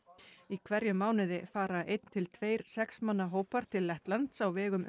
í hverjum mánuði fara einn til tveir sex manna hópar til Lettlands á vegum